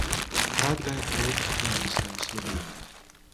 Takrat ga je pot ponesla v Slovenijo.